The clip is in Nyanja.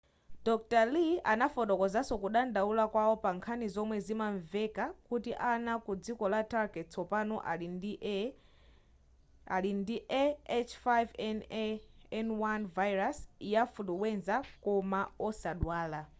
dr. lee anafotokozanso kudandaula kwawo pankhani zomwe zinamveka kuti ana ku dziko la turkey tsopano ali ndi a h5n1 virus ya fuluwenza koma osadwala